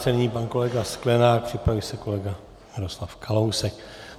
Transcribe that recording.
Nyní pan kolega Sklenák, připraví se kolega Miroslav Kalousek.